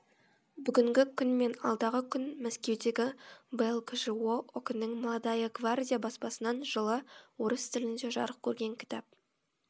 бүгінгі күн мен алдағы күн мәскеудегі блкжо ок нің молодая гвардия баспасынан жылы орыс тілінде жарық көрген кітап